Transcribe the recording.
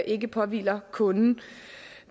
ikke påhviler kunden